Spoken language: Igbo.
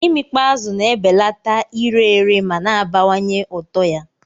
Imikpo azụ na-ebelata ire ere ma na-abawanye ụtọ ya.